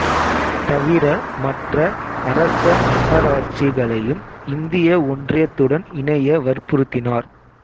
தவிர மற்ற அரச மன்னராட்சிகளையும் இந்திய ஒன்றியத்துடன் இணைய வற்புறுத்தினார்